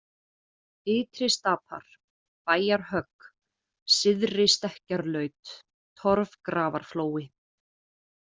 Ytri-Stapar, Bæjarhögg, Syðri-Stekkjarlaut, Torfgrafarflói